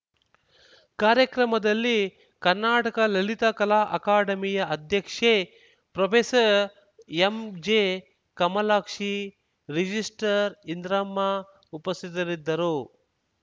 ಕಾರ್ಯಕ್ರಮದಲ್ಲಿ ಕರ್ನಾಟಕ ಲಲಿತಾ ಕಲಾ ಅಕಾಡೆಮಿಯ ಅಧ್ಯಕ್ಷೆ ಪ್ರೊಫೇಸರ್ ಎಂಜೆಕಮಲಾಕ್ಷಿ ರಿಜಿಸ್ಟ್ರಾರ್‌ ಇಂದ್ರಮ್ಮ ಉಪಸ್ಥಿತರಿದ್ದರು